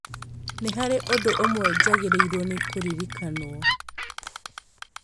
nĩ harĩ ũndũ ũmwe njagĩrĩirũo nĩ kũririkanwo.